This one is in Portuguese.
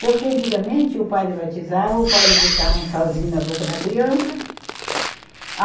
Porque antigamente o padre batizava, o padre botava um salzinho na boca da criança.